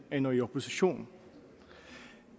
ender i opposition